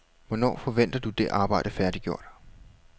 Hvornår forventer du det arbejde færdiggjort?